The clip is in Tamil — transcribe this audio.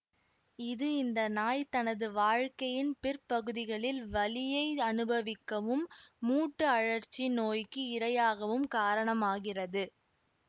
இது இந்த நாய் தனது வாழ்க்கையின் பிற்பகுதிகளில் வலியை அனுபவிக்கவும் மூட்டு அழற்சி நோய்க்கு இரையாகவும் காரணமாகிறது